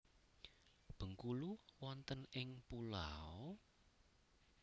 Bengkulu wonten ing pulau?